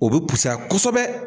O be pusaya kosɛbɛ